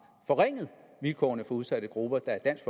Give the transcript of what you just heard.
forringet vilkårene for udsatte grupper da dansk